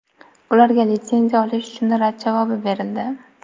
Ularga litsenziya olish uchun rad javobi berildi.